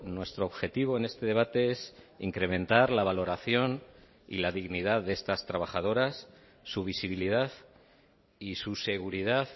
nuestro objetivo en este debate es incrementar la valoración y la dignidad de estas trabajadoras su visibilidad y su seguridad